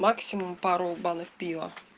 максимум пару банок пива